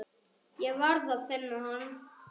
Ég varð að finna hann.